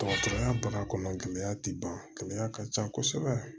Dɔgɔtɔrɔya baara kɔnɔ gɛlɛya tɛ ban gɛlɛya ka ca kosɛbɛ